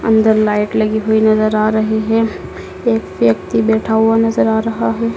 अंदर लाईट लगी हुई नजर आ रही है। एक व्यक्ति बैठा हुआ नजर आ रहा है।